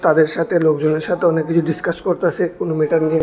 তাদের সাথে লোকজনের সাথে অনেক কিছু ডিসকাস করতাছে কোন মেটার নিয়ে।